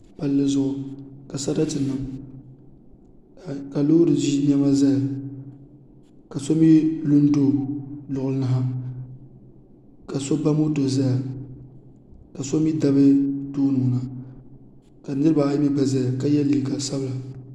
Palli zuɣu ka sarati niŋ ka loori ʒi niɛma ʒɛya ka so mii lu n do luɣuli ni ha ka so ba moto ʒɛya ka so mii bari tooni ka niraba ayi ʒɛya ka yɛ liiga sabila